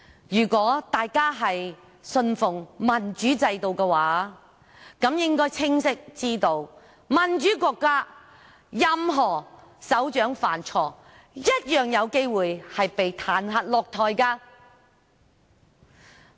如果大家信奉民主制度的話，便應該清楚知道，在民主國家，任何首長犯錯，一樣有機會被彈劾下台。